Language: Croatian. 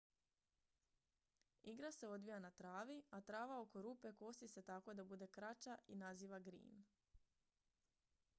igra se odvija na travi a trava oko rupe kosi se tako da bude kraća i naziva green